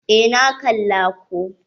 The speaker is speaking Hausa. Eh, na kalla ko.